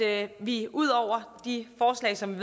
at vi ud over de forslag som